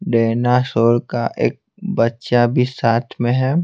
Dinosaur का एक बच्चा भी साथ में है।